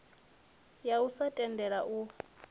ya u sa tendela u